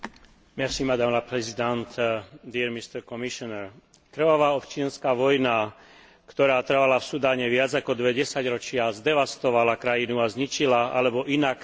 Krvavá občianska vojna, ktorá trvala v Sudáne viac ako dve desaťročia, zdevastovala krajinu a zničila alebo inak tragicky poznačila milióny jej obyvateľov.